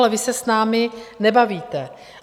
Ale vy se s námi nebavíte.